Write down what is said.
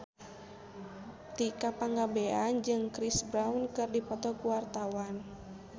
Tika Pangabean jeung Chris Brown keur dipoto ku wartawan